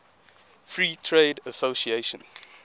free trade association